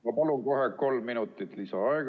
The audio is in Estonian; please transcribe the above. Ma palun kohe kolm minutit lisaaega!